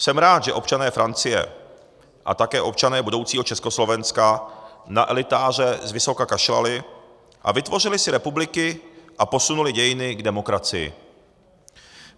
Jsem rád, že občané Francie a také občané budoucího Československa na elitáře zvysoka kašlali a vytvořili si republiky a posunuli dějiny k demokracii.